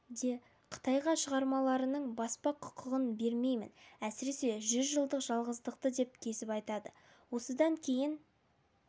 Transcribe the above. де қытайға шығармаларымның баспа құқығын бермеймін әсіресе жүз жылдық жалғыздықты деп кесіп айтады осыдан кейін